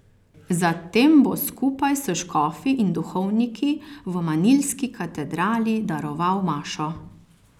Zatem bo skupaj s škofi in duhovniki v manilski katedrali daroval mašo.